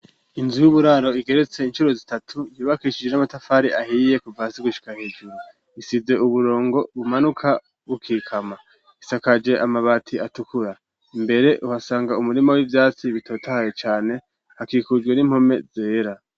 Inzu y'uburaro igeretse incuro zitatu ntibakishije n'amatafari ahiye kuvasi gushika hejuru isize uburongo bumanuka bukikama isakaje amabati atukura imbere uhasanga umurima w'ivyatsi bitotahe cane hakikujwe n'impome zera.